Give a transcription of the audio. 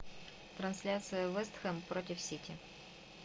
трансляция вест хэм против сити